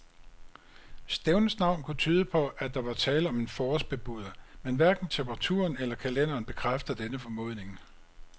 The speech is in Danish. Stævnets navn kunne tyde på, at der var tale om en forårsbebuder, men hverken temperaturen eller kalenderen bekræfter denne formodning.